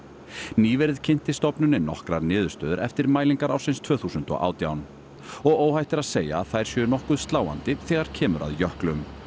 nýverið kynnti stofnunin nokkrar niðurstöður eftir mælingar ársins tvö þúsund og átján og óhætt er að segja að þær séu nokkuð sláandi þegar kemur að jöklum